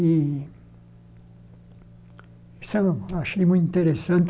E isso eu achei muito interessante,